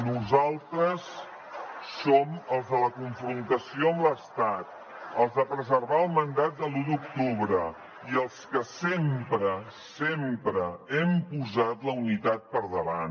nosaltres som els de la confrontació amb l’estat els de preservar el mandat de l’un d’octubre i els que sempre sempre hem posat la unitat per davant